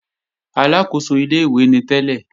Aláàkóso ilé-ìwé ni tẹ́lẹ̀